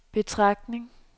betragtning